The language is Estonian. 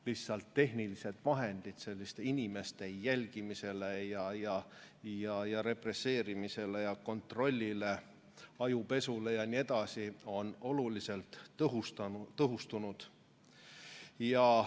Lihtsalt tehnilised vahendid inimeste jälgimiseks, represseerimiseks, kontrolliks, ajupesuks jne on oluliselt tõhustunud.